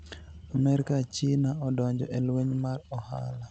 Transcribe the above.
Amerka, Chinia odonijo e lweniy mar ohala